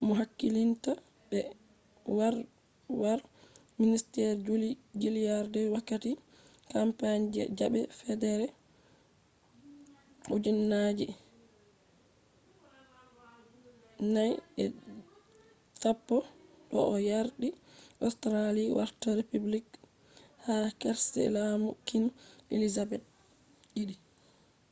mo hakkilinta be kwarwal minister julia gillardvi wakati campaign je zabe federal 2010 do o yardi australia warta republic ha karshe lamu queen elizabeth ii